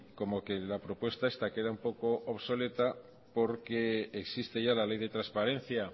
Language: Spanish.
como que la propuesta esta queda un poco obsoleta porque existe ya la ley de transparencia